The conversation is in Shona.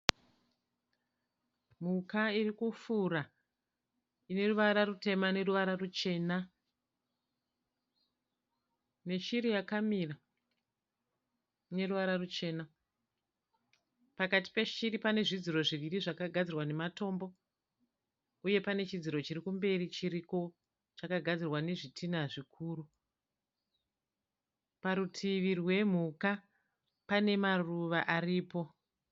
Mhuka iri kufura ine ruvara rutema neruvara ruchena neshiri yakamira ine ruvara ruchena. Pakati peshiri pane zvidziro zviviri zvakagadzirwa nematombo uye pane chidziro chiri kumberi chiriko chakagadzirwa nezvitina zvikuru. Parutivi rwemhuka pane maruva aripo.